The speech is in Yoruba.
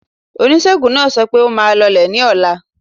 Oníṣègùn náà sọ pẹ́, ó máa lọlé ní ọ̀la.